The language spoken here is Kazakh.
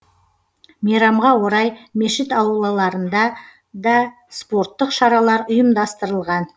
мейрамға орай мешіт аулаларында да спорттық шаралар ұйымдастырылған